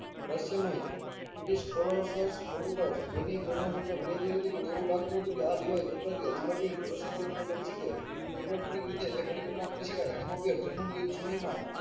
રહસ્યમય British computers જેની program શમતા મર્યાદીઠ હતી પણ એવું લાગતું હતું કે આ device વપરાતી બની શકે અને ઇલેક્ટ્રોનિક રીતે બેમાં ફરી program કરી શકાય તેનું ઉપયોગ ગેરમાં યુદ્ધ સમય માં